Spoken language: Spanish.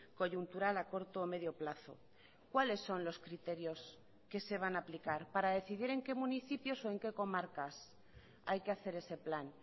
coyuntural a corto o medio plazo cuáles son los criterios que se van a aplicar para decidir en qué municipios o en qué comarcas hay que hacer ese plan